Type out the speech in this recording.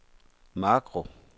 makro